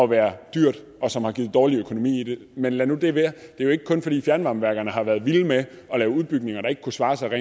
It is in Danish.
være dyrt og som har givet dårlig økonomi men lad nu det være det er jo ikke kun fordi fjernvarmeværkerne har været vilde med at lave udbygninger der ikke kunne svare sig og